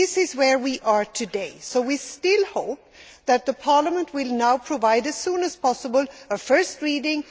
This is where we are today, so we still hope that Parliament will now provide, as soon as possible, a first reading.